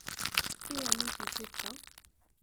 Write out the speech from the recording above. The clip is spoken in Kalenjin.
Kaiamishe chepto?